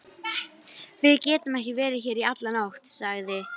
un í riffil og læt hann plata mig inn.